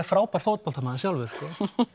frábær fótboltamaður sjálfur sko